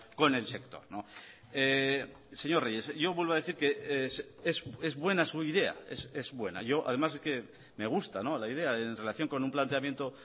con el sector señor reyes yo vuelvo a decir que es buena su idea es buena yo además es que me gusta la idea en relación con un planteamiento